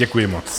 Děkuji moc.